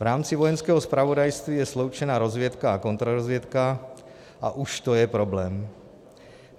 V rámci Vojenského zpravodajství je sloučena rozvědka a kontrarozvědka a už to je problém.